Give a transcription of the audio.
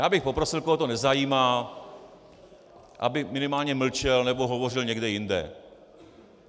Já bych poprosil, koho to nezajímá, aby minimálně mlčel nebo hovořil někde jinde.